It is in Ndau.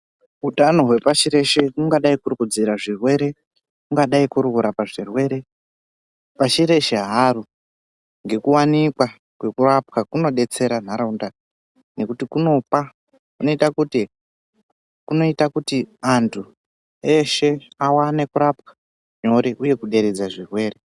Utano hwepashi reshe kungadai kuri kudziira zvirwere kungadai kuri kurapa zvirwere ,pashi reshe haro ngekuwanikwa kwekurapwa kunodetsera nharaunda nekuti kunopa kunoita kuti anhu eshe aone kurapwa uye kuderedza zvirwere.